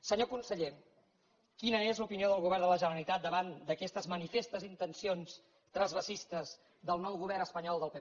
senyor conseller quina és l’opinió del govern de la generalitat davant d’aquestes manifestes intencions transvasadores del nou govern espanyol del pp